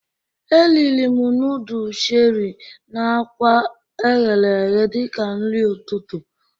Eriri m nudul Cheri na akwa eghere eghe dịka nri ọtụtụ